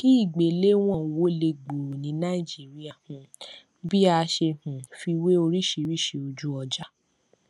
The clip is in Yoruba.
kí ni ìgbéléwọn wọlé gbooro ní naìjíríà um bí a ṣe um fi wé oríṣìíríṣìí ojúọjà